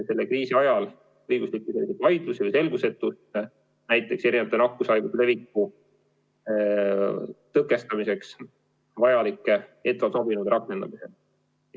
Selle kriisi ajal on olnud õiguslikke vaidlusi või lihtsalt selgusetu, kuidas erinevate nakkushaiguse leviku tõkestamiseks võib ettevaatusabinõusid rakendada.